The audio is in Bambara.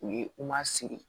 U ye u ma sigi